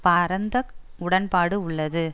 பரந்த உடன்பாடு உள்ளது